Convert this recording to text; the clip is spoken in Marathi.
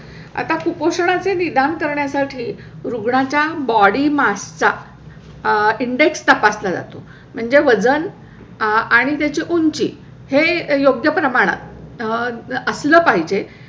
आता कुपोषणाचे निदान करण्यासाठी रुग्णाच्या body mass चा आह index तपासला जातो. म्हणजे वजन आणि त्याची उंची हे योग्य प्रमाणात आह असला पाहिजे